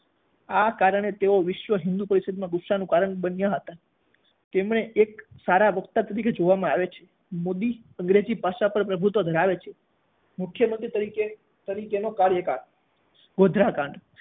આ કારણે તેઓ વિશ્વ હિંદુ પરિષદના ગુસ્સાનું કારણ બન્યા હતા તેમને એક સારા વક્તા તરીકે જોવામાં આવે છે. મોદી અંગ્રેજી ભાષા પર પ્રભુત્વ ધરાવે છે મુખ્યમંત્રી તરીકેનો કાર્યકાળ ગોધરા કાંડ